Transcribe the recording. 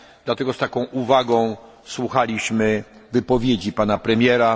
Dlatego z taką uwagą słuchaliśmy wypowiedzi Pana Premiera.